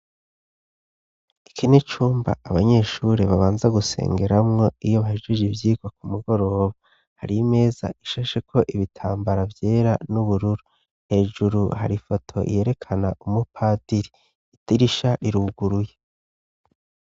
Iki ni cumba abanyeshuri babanza gusengeramwo iyo bahijije ivyikwa ku mugoroba hari meza ishashe ko ibitambara vyera n'ubururu hejuru harifoto iyerekana umupadiri ita irisha iruguruye.